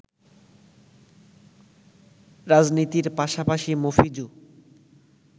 রাজনীতির পাশাপাশি মফিজু